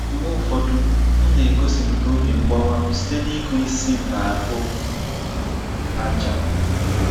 Mgbe ụfọdụ, m na-egosipụta obi mgbawa m site n’ịkụ isi m n'ahụ ájá.